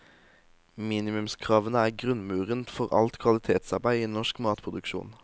Minimumskravene er grunnmuren for alt kvalitetsarbeid i norsk matproduksjon.